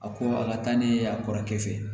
A ko a ka taa n'i ye a kɔrɔkɛ fɛ